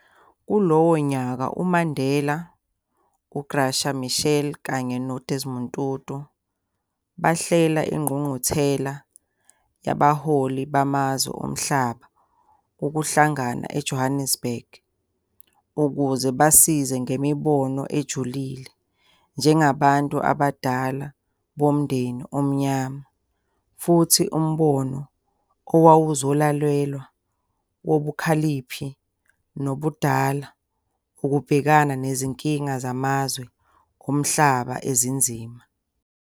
Kulowo nyaka uMandela, uGraca Machel, kanye noDesmond Tutu bahlela ingqugquthela yabaholi bamazwe omhlaba ukuhlangana eJohannesburg, ukuze basize ngemibono ejulile njengabantu abadala bomndeni omnyama, futhi umbono owawuzolalelwa wobukhaliphi nobudala, ukubhekana nezinkinga zamazwe omhlaba ezinzima.